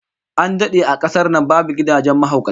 An dade a kasar nan babu gidajen mahaukata